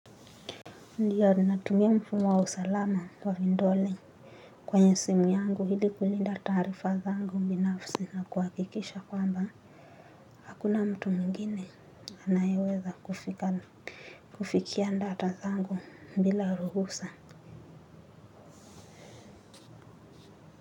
Ndiyo natumia mfumo wa usalama wa vindole kwenye simu yangu ili kulinda taarifa zangu binafsi na kuhakikisha kwamba hakuna mtu mwingine anayeweza kufikia data zangu bila ruhusa.